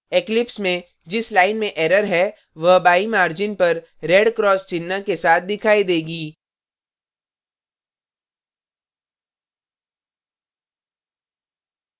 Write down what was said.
eclipse में जिस line में error है वह बाईं margin पर red cross चिह्न के साथ दिखाई देगी